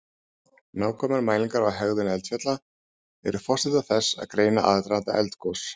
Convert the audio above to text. nákvæmar mælingar á hegðun eldfjalla eru forsenda þess að greina aðdraganda eldgos